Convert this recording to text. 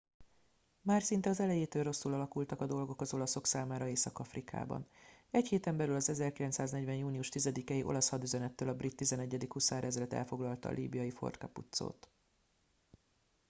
már szinte az elejétől rosszul alakultak a dolgok az olaszok számára észak afrikában egy héten belül az 1940. június 10 i olasz hadüzenettől a brit 11. huszárezred elfoglalta a líbiai fort capuzzót